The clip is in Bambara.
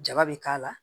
Jaba bɛ k'a la